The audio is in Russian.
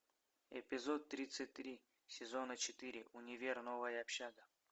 эпизод тридцать три сезона четыре универ новая общага